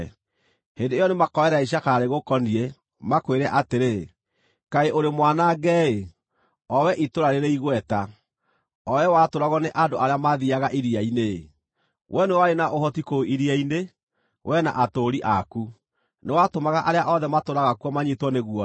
Hĩndĩ ĩyo nĩmakoerera icakaya rĩgũkoniĩ, makwĩre atĩrĩ: “ ‘Kaĩ ũrĩ mwanange-ĩ, o wee itũũra rĩrĩ igweta, o wee watũũragwo nĩ andũ arĩa maathiiaga iria-inĩ-ĩ! Wee nĩwe warĩ na ũhoti kũu iria-inĩ, wee na atũũri aku; nĩwatũmaga arĩa othe maatũũraga kuo manyiitwo nĩ guoya.